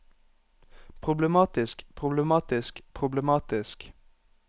problematisk problematisk problematisk